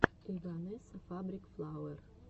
эйвонесса фабрик флауэр